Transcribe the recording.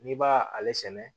N'i b'a ale sɛnɛ